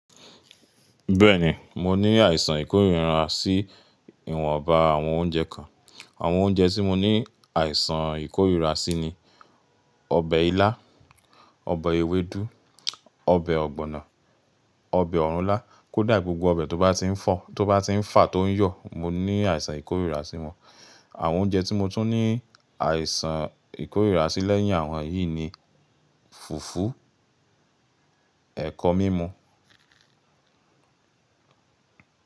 Bẹ́ẹ̀ni, mo ní àìsàn ìkórira sí ìwọ̀nba àwọn oúnjẹ kan. Àwọn oúnjẹ tí mo ní àìsàn ìkórira sí ni: ọbẹ̀ ilá, ọbẹ̀ ewédú, ọbẹ̀ ọ̀gbọ̀nọ̀, ọbẹ̀ ọ̀rùnlá, kódà gbogbo ọbẹ̀ tó bá ti ń fà tó ń yọ̀, mo ní àìsàn ìkórira sí wọ́n. Àwọn oúnjẹ tí mo tún ní àìsàn ìkórira sí lẹ́yìn àwọn yìí ni fùfú, ẹ̀kọ mímú.